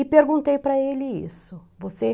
E perguntei para ele isso, você